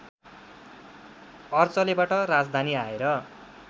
अर्चलेबाट राजधानी आएर